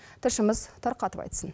тілшіміз тарқатып айтсын